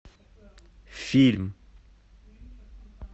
фильм